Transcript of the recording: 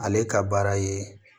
Ale ka baara ye